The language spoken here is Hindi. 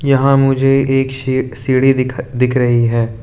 यहां मुझे एक सीढ़ी दिख रही है।